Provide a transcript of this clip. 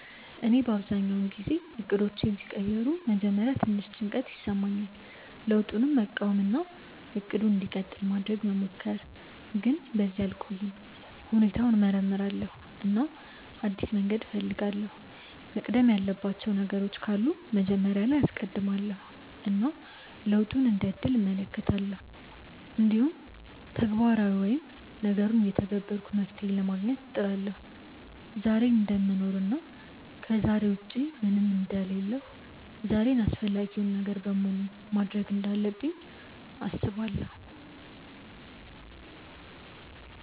እኔ አብዛኛውን ጊዜ እቅዶቼ ሲቀየሩ በመጀመሪያ ትንሽ ጭንቀት እሰማለሁ፣ ለውጡን መቃወም እና “እቅዱ እንዲቀጥል” ማድረግ መሞከር፣ ግን በዚያ አልቆይም። ሁኔታውን እመርምራለሁ እና አዲስ መንገድ እፈልጋለሁ፤ መቅደም ያለባቸው ነገሮች ካሉ መጀመሪያ ላይ አስቀድማለው እና ለውጡን እንደ እድል እመለከታለሁ። እንዲሁም ተግባራዊ ወይም ነገሩን እየተገበርኩ መፍትሄ ለማግኘት እጥራለሁ። ዛሬን እደምኖር እና ከዛሬ ውጪ ምንም አንደ ሌለሁ ዛሬን አፈላጊውን ነገር በሙሉ ማድርግ እንዳለብኝ አስባለው።